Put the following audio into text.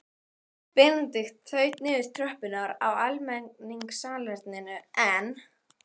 Benedikt þaut niður tröppurnar á almenningssalerninu en